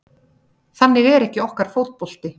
Þannig er ekki okkar fótbolti